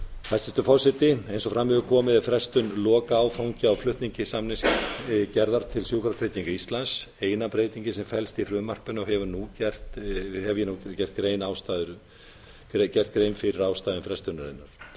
hæstvirtur forseti eins og fram hefur komið er frestun lokaáfanga á flutningi samningsgerðar til sjúkratrygginga íslands eina breytingin sem felst í frumvarpinu og hefur ég nú gert grein fyrir ástæðum frestunarinnar